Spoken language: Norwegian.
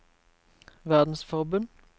verdensforbund